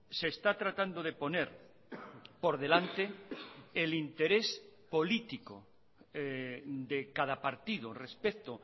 se está tratando de poner por delante el interés político de cada partido respecto